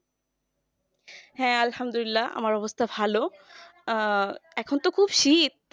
হ্যাঁ আল্লাহামদুল্লিয়া আমার অবস্থা ভালো আহ এখন তো খুব শীত